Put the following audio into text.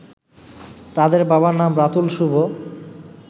তাদের বাবার নাম রাতুল শুভ